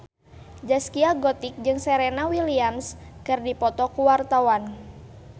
Zaskia Gotik jeung Serena Williams keur dipoto ku wartawan